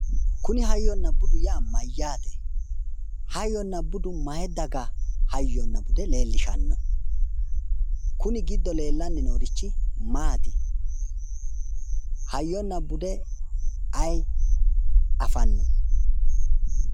Kuni hayyonna budu yaa mayyaate? Hayyonna budu may dagahayyonna bude leellishshanno? kuni giddo lellanni noori maati? Hayyonna bude ayi afanno?